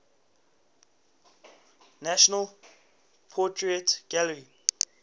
national portrait gallery